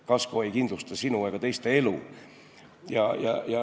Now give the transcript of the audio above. Kasko ei kindlusta sinu ega teiste elu.